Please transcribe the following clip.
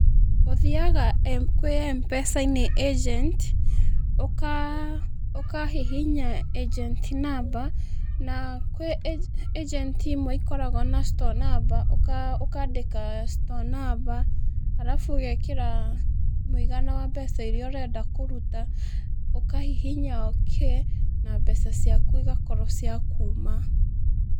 Ũthiaga kwĩ Mpesa-inĩ agent, ũkahihinya agent number, na kwĩ agent imwe ikoragwo na store number, ũkandĩka store number, arabu ũgekĩra mũigana wa mbeca iria ũrenda kũruta, ũkahihinya OK, na mbeca ciaku igakorwo cia kuuma.